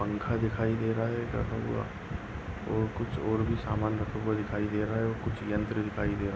पंखा दिखाई दे रहा है टंगा हुआ और कुछ और भी सामान रखा हुआ दिखाई दे रहा है और कुछ यंत्र दिखाई दे रहा --